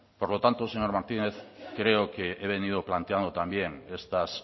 por lo tanto señor martínez creo que he venido planteando también estas